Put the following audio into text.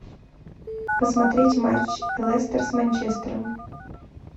посмотреть матч лестер с манчестером